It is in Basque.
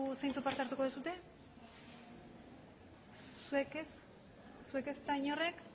zeintzuk parte hartu duzue zuek ez zuek ezta inork